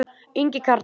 Ingi Karl.